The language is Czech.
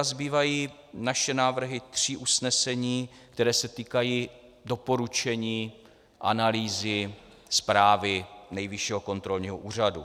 A zbývají naše návrhy tří usnesení, která se týkají doporučení, analýzy, zprávy Nejvyššího kontrolního úřadu.